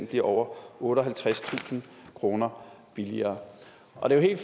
bliver over otteoghalvtredstusind kroner billigere og det er